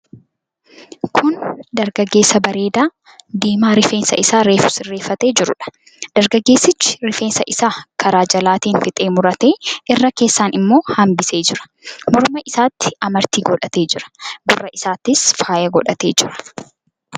Kun dargaggeessa bareedaa, diimaa rifeensa isaa reefuu sirreeffatee jiruudha. Dargaggeessichi rifeensa isaa karaa jalaatiin fixee muratee irra keessaan immoo hambisee jira. Morma isaatti amartii godhatee jira. Gurra isaattis faayaa godhatee jira.